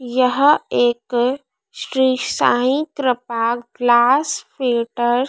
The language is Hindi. यह एक श्री साईं कृपा ग्लास फिल्टर --